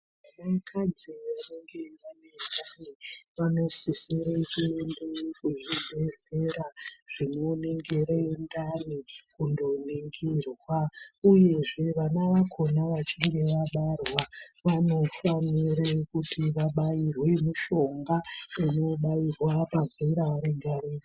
Vanakadzi vanenge vane ndani, vanosisire kuende kuzvibhedhlera zvinoningire ndani, kundoningirwa, uyezve vana vakhona vachinge vabarwa, vanofanire kuti vabairwe mushonga, unobairwa pazera rega-rega.